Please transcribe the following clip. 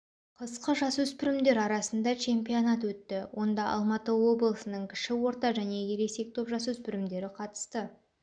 қысқы жасөспірімдер арасында чемпионат өтті онда алматы облысының кіші орта және ересек топ жасөспірімдері қатысты